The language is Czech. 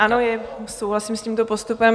Ano, souhlasím s tímto postupem.